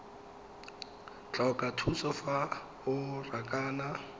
tlhoka thuso fa o rakana